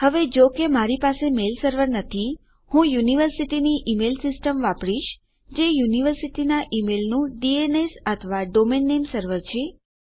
હવે જો કે મારી પાસે મેલ સર્વર નથી હું મારી યુનિવર્સિટીની ઈમેલ સીસ્ટમ વાપરીશ જે યુનિવર્સિટીનાં ઈમેલનું ડીએનએસ અથવા કે ડોમેઇન નામે સર્વર છે